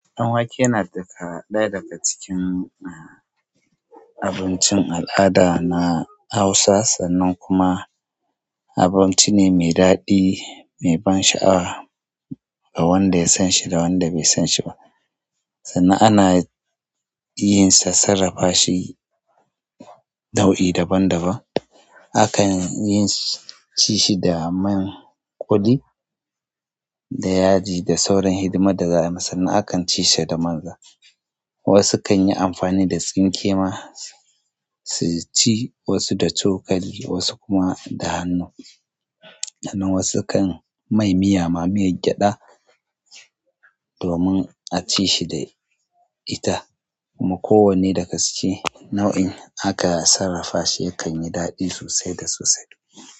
Ɗan wake yana daga ɗaya daga cikin um abincin al'ada na Hausa sannan kuma abinci ne mai daɗi, mai ban sha'awa, ga wanda ya san shi, da wanda bai san shi ba. Sannan ana iyan, sa sarrafa shi nau'i daban-daban. Akan ci shi da man ƙuli, da yaji, da sauran hidimar da za a yi. Sannan a kan ci shi da manza. Wasu kan yi amfani da tsinke ma su ci, wasu da cokali, wasu kuma da hannu. Sannan wasu kan mai miya ma miyar gyada domin a ci shi da ita. Kuma kowanne dagaske nau'in aka sarrafa shi yakan yi daɗi sosai da sosai.